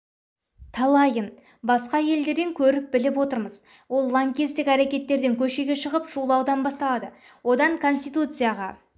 талайын басқа елдерден көріп біліп отырмыз ол лаңкестік әрекеттерден көшеге шығып шулаудан басталады одан конституцияға